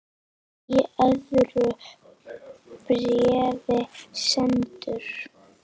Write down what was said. Í öðru bréfi sendur